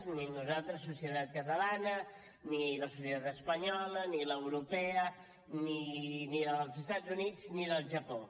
ni nosaltres societat catalana ni la societat espanyola ni l’europea ni la dels estats units ni del japó